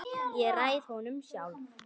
Ég ræð honum sjálf.